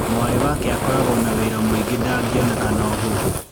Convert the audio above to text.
Mwarĩ wake akoragwo na wĩra mũingĩ ndangĩoneka na ũhũthũ.